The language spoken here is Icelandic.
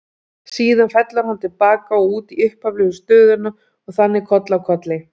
Síðan fellur hann til baka og út í upphaflegu stöðuna og þannig koll af kolli.